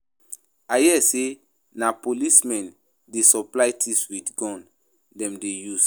I hear say na police men dey supply thieves with gun dem dey use